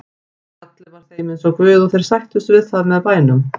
Fjallið var þeim eins og guð og þeir sættust við það með bænum.